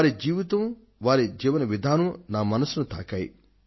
వారి జీవనం వారి జీవన విధానం నా మనస్సును తాకాయి